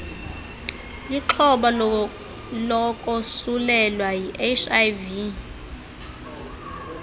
lixhoba lokosulelwa yiihiv